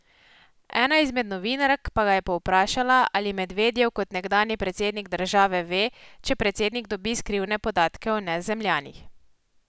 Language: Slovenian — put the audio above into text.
Ena izmed novinark pa ga je povprašala, ali Medvedjev kot nekdanji predsednik države ve, če predsednik dobi skrivne podatke o Nezemljanih.